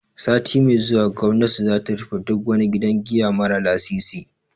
Sati mai zuwa gwamnati za ta rufe duk wani gidan giya mara lasisi.